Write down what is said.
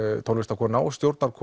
tónlistarkona og